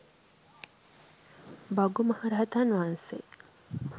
භගු මහරහතන් වහන්සේ